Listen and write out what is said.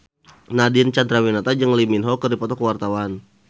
Nadine Chandrawinata jeung Lee Min Ho keur dipoto ku wartawan